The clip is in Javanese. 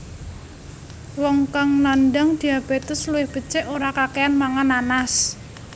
Wong kang nandang diabétes luwih becik ora kakéyan mangan nanas